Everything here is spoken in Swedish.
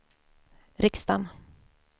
riksdagen